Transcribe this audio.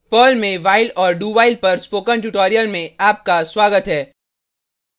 Perl में while और dowhile पर स्पोकन ट्यूटोरियल में आपका स्वागत है